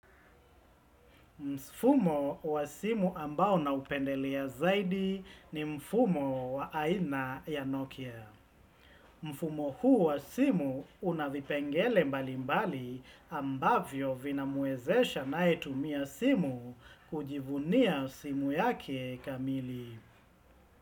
Mfumo wa simu ambao naupendelea zaidi ni mfumo wa aina ya Nokia. Mfumo huu wa simu unavipengele mbalimbali ambavyo vinamwezesha anayetumia simu kujivunia simu yake kamili.